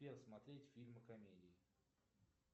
сбер смотреть фильмы комедии